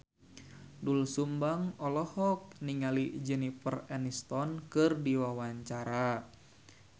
Doel Sumbang olohok ningali Jennifer Aniston keur diwawancara